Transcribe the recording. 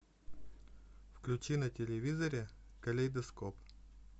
включи на телевизоре калейдоскоп